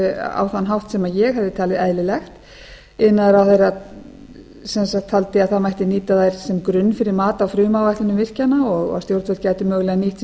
á þann hátt sem ég hefði talið eðlilegt iðnaðarráðherra taldi að það mætti nýta þær sem grunn fyrir mat á frumáætlunum virkjana og að stjórnvöld gætu mögulega nýtt sér